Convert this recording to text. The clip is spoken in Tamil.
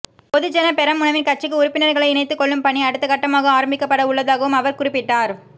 பொதுஜன பெரமுனவின் கட்சிக்கு உறுப்பினர்களை இணைத்துக் கொள்ளும் பணி அடுத்த கட்டமாக ஆரம்பிக்கப்படவுள்ளதாகவும் அவர் குறிப்பிட்டார்